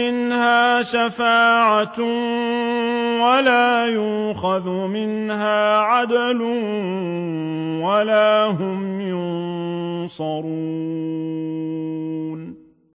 مِنْهَا شَفَاعَةٌ وَلَا يُؤْخَذُ مِنْهَا عَدْلٌ وَلَا هُمْ يُنصَرُونَ